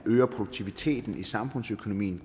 øger produktiviteten i samfundsøkonomien